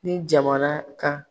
Ni jamana ka